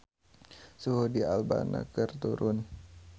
Suhu di Alabama keur turun